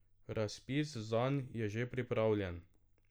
Razpis zanj je že pripravljen.